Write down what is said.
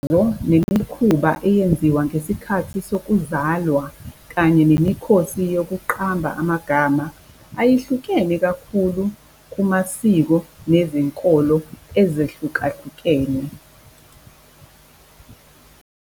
Imithandazo nemikhuba eyenziwa ngesikhathi sokuzalwa kanye nemikhosi yokuqamba amagama ayihlukene kakhulu kumasiko nezinkolo ezehlukahlukene .